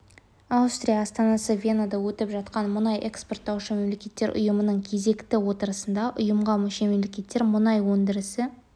аустрия астанасы венада өтіп жатқан мұнай экспорттаушы мемлекеттер ұйымының кезекті отырысында ұйымға мүше мемлекеттер мұнай өндірісі